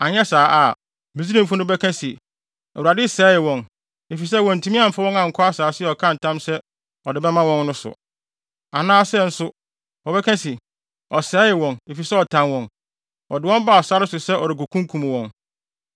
Anyɛ saa a, Misraimfo no bɛka se, ‘ Awurade sɛee wɔn, efisɛ wantumi amfa wɔn ankɔ asase a ɔkaa ntam sɛ ɔde bɛma wɔn no so. Anaasɛ nso, wɔbɛka se, ɔsɛee wɔn, efisɛ ɔtan wɔn; ɔde wɔn baa sare so sɛ ɔrekokunkum wɔn.’